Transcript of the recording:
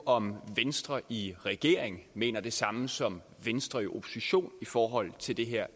om venstre i regering mener det samme som venstre i opposition i forhold til det her